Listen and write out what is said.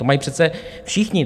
To mají přece všichni.